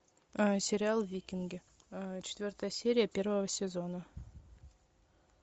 сериал викинги четвертая серия первого сезона